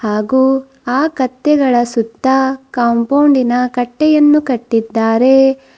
ಹಾಗು ಆ ಕತ್ತೆಗಳ ಸುತ್ತ ಕಾಂಪೌಂಡಿನ ಕಟ್ಟೆಯನ್ನು ಕಟ್ಟಿದ್ದಾರೆ.